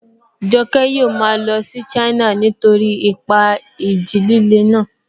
Joke yóò máa lọ sí China nítorí ipa ìjì líle náà